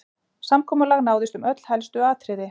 Samkomulag náðist um öll helstu atriði